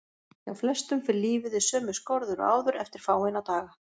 Hjá flestum fer lífið í sömu skorður og áður eftir fáeina daga.